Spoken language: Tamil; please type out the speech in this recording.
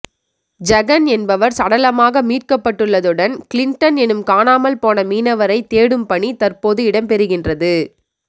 ஜெகன் என்பவர் சடலமாக மீட்கப்பட்டுள்ளதுடன் கிளின்டன் எனும் காணாமல்போன மீனவரை தேடும்பணி தற்போது இடம்பெறுகின்றது